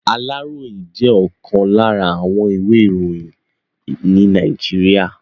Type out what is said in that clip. Aláròyé jẹ́ ọ̀kan lára àwọn ìwé iroyin ní Nàìjíríà.